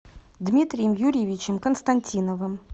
дмитрием юрьевичем константиновым